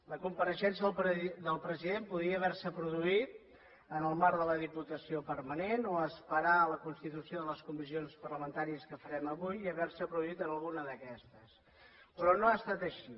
la compareixença del president podria haver se produït en el marc de la diputació permanent o esperar a la constitució de les comissions parlamentàries que farem avui i haver se produït en alguna d’aquestes però no ha estat així